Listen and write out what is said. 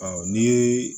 Ɔ ni